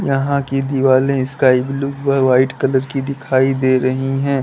यहां की दिवालें स्काई ब्लू व व्हाइट कलर की दिखाई दे रही हैं।